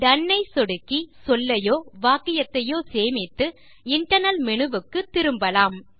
tone ஐ சொடுக்கி சொல்லையோ வாக்கியத்தையோ சேமித்து இன்டர்னல் மேனு வுக்கு திரும்பலாம்